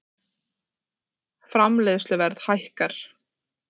Framleiðsluverð hækkar